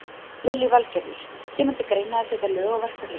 Lillý Valgerður: Kemur til greina að setja lög á verkfallið?